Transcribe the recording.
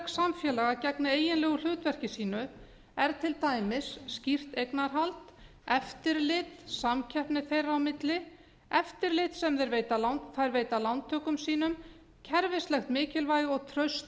samfélaga gegni eiginlegu hlutverki sínu er til dæmis skýrt eignarhald eftirlit samkeppni þeirra á milli eftirlit sem þeir veita lántökum sínum kerfislegt mikilvægi og traust